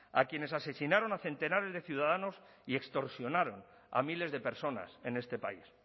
a quienes asesinaron a centenares de ciudadanos y extorsionaron a miles de personas en este país